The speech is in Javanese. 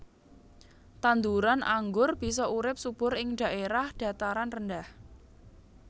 Tanduran anggur bisa urip subur ing dhaèrah dhataran rendah